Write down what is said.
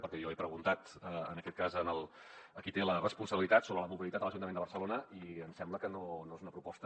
perquè jo he preguntat en aquest cas a qui té la responsabilitat sobre la mobilitat a l’ajuntament de barcelona i em sembla que no és una proposta